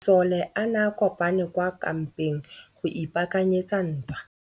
Masole a ne a kopane kwa kampeng go ipaakanyetsa ntwa.